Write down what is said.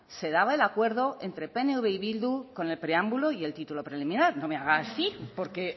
se daba el acuerdo entre pnv y bildu con el preámbulo y el título preliminar no me haga así porque